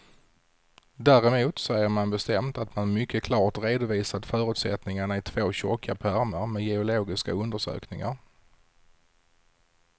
Däremot säger man bestämt att man mycket klart redovisat förutsättningarna i två tjocka pärmar med geologiska undersökningar.